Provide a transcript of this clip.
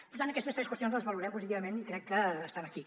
per tant aquestes tres qüestions les valorem positivament i crec que estan aquí